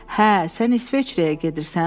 Hə, sən İsveçrəyə gedirsən?